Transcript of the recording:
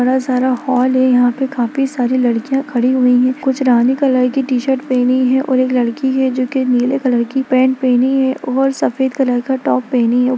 बड़ा सारा हॉल है यहाँ पे काफी सारी लड़कियाँ खड़ी हुई है कुछ रानी कलर की टी-शर्ट पेहनी है और एक लड़की है जोकि नीले कलर की पैंट पेहनी है और सफेद कलर का टॉप पेहनी--